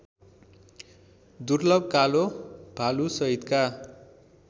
दुर्लभ कालो भालुसहितका